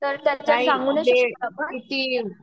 तर त्यांचा सांगू नाही शकत आपण